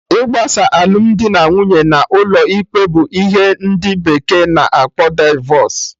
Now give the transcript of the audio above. Igbasa alụmdi na nwunye n'ụlọ ikpe bụ ihe ndị bekee na akpọ divọs